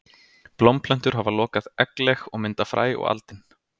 Blómplöntur hafa lokað eggleg og mynda fræ og aldin.